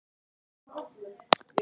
Þeir hafa haldið hópinn.